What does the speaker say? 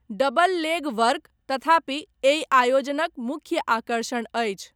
Double leg work, तथापि, एहि आयोजनक मुख्य आकर्षण अछि।